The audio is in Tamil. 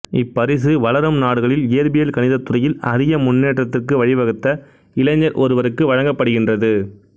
இப்பரிசு வளரும் நாடுகளில் இயற்பியல் கணிதத்துறையில் அரிய முன்னேற்றத்திற்கு வழி வகுத்த இளைஞர் ஒருவருக்கு வழங்கப்படுகின்றது